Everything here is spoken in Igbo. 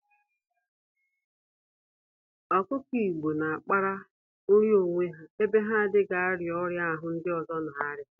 Ọkụkọ Igbo n'akpara nri n'onwe ha, ebe ha n'adịghị arịa ọrịa ahụ ndị ọzọ n'arịa